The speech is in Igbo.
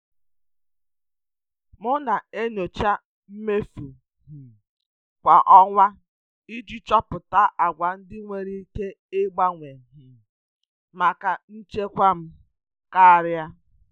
M na-enyocha mmefu um kwa ọnwa iji chọpụta àgwà ndị enwere ike ịgbanwe um maka nchekwa um karịa.